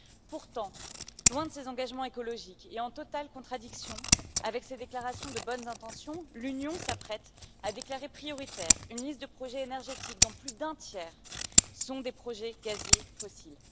Pourtant, loin de ses engagements écologiques et en totale contradiction avec ses déclarations de bonnes intentions, l'Union s'apprête à déclarer prioritaire une liste de projets énergétiques dont plus d'un tiers sont des projets gaziers fossiles.